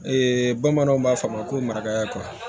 Ee bamananw b'a fɔ a ma ko marakayako